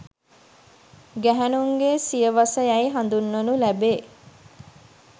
ගැහැණුන්ගේ සිය වස යැයි හඳුන්වනු ලැබේ